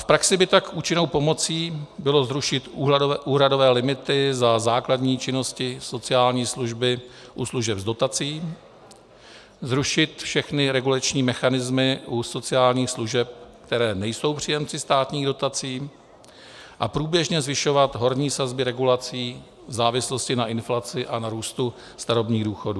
V praxi by tak účinnou pomocí bylo zrušit úhradové limity za základní činnosti sociální služby u služeb s dotací, zrušit všechny regulační mechanismy u sociálních služeb, které nejsou příjemci státních dotací, a průběžně zvyšovat horní sazby regulací v závislosti na inflaci a na růstu starobních důchodů.